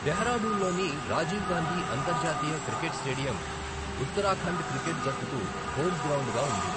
డెహ్రాడూన్లోని రాజీవ్ గాంధీ అంతర్జాతీయ cricket stadium Uttarakhand cricket జట్టుకు home గ్రౌండ్గా ఉంది.